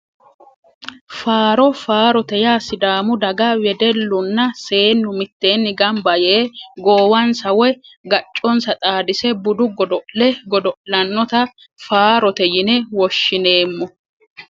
Faaro faarote yaa sidaamu dagga wedellunna seennu mitteenni gamba yee goowansa woyi gacconsa xaadise budu godo'le godo'lannota faarote yine woshshineemmo